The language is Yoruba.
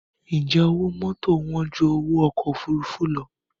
Ǹjẹ́ owó mọ́tò wán ju owó ọkọ̀ òfuurufú lọ?